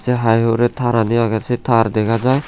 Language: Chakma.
te hai hure tarani agey se tar dega jai.